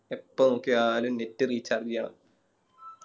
എപ്പോ നോക്കിയാലും Net recharge ചെയ്യണം